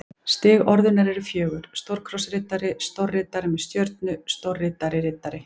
Stig orðunnar eru fjögur: stórkrossriddari stórriddari með stjörnu stórriddari riddari